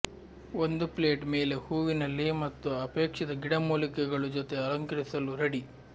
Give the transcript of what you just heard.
ಒಂದು ಪ್ಲೇಟ್ ಮೇಲೆ ಹೂವಿನ ಲೇ ಮತ್ತು ಅಪೇಕ್ಷಿತ ಗಿಡಮೂಲಿಕೆಗಳು ಜೊತೆ ಅಲಂಕರಿಸಲು ರೆಡಿ